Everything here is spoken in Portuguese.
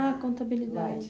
Ah, contabilidade.